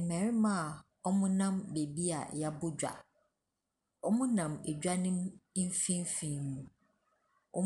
Mmarima a wɔnam baabi a yɛabɔ dwa. Wɔnam edwa no mfimfini.